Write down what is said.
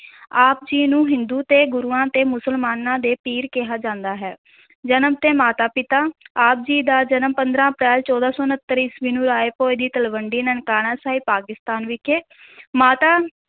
ਆਪ ਜੀ ਨੂੰ ਹਿੰਦੂ ਤੇ ਗੁਰੂਆਂ ਤੇ ਮੁਸਲਮਾਨਾਂ ਦੇ ਪੀਰ ਕਿਹਾ ਜਾਂਦਾ ਹੈ ਜਨਮ ਤੇ ਮਾਤਾ-ਪਿਤਾ, ਆਪ ਜੀ ਦਾ ਜਨਮ ਪੰਦਰਾਂ ਅਪ੍ਰੈਲ, ਚੌਦਾਂ ਸੌ ਉਣਤਰ ਈਸਵੀ ਨੂੰ ਰਾਇ ਭੋਇ ਦੀ ਤਲਵੰਡੀ ਨਨਕਾਣਾ ਸਾਹਿਬ, ਪਾਕਿਸਤਾਨ ਵਿਖੇ ਮਾਤਾ